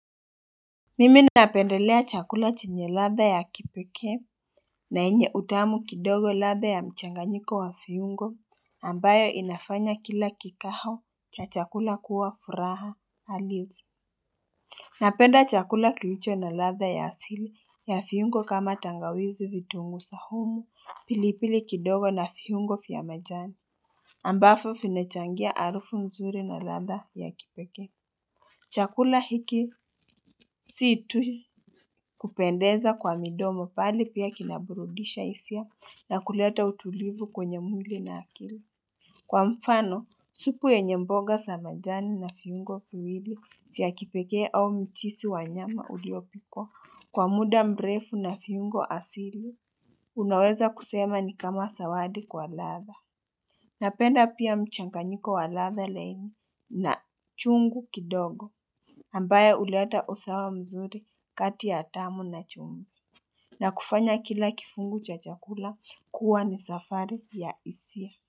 Mimi napendelea chakula chenye ladha ya kipekee na yenye utamu kidogo. Ladha ya mchanganyiko wa viungo ambayo inafanya kila kikao cha chakula kuwa furaha halisi Napenda chakula kilicho na ladha ya asili ya viungo kama tangawizi, vitunguu saumu, pilipili kidogo na viungo vya majani ambavyo vinechangia harufu mzuri na ladha ya kipekee Chakula hiki si tu kupendeza kwa midomo bali pia kinaburudisha hisia na kuleta utulivu kwenye mwili na akili Kwa mfano, supu yenye mboga za majani na viungo viwili vya kipekee au mchuzi wabnyama uliopikwa kwa muda mrefu na viungo asili, unaweza kusema ni kama zawadi kwa ladha Napenda pia mchanganyiko wa ladhaa laini na chungu kidogo ambayo huleta usawa mzuri kati ya tamu na chumvi. Na kufanya kila kifungu cha chakula kuwa ni safari ya hisia.